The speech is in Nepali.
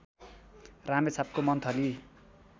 रामेछापको मन्थली